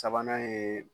Sabanan ye